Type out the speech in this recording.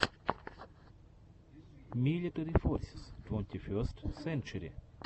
милитари форсис твонтиферст сенчери